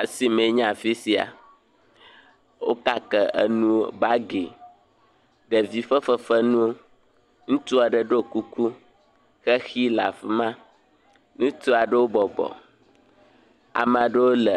Asime nye afi sia. Wo kake enuwo, bagi, ɖevi ƒe fefenuwo, ŋutsu aɖe ɖo kuku. Xexi le afi ma, ŋutsu aɖewo bɔbɔ. Ame aɖewo le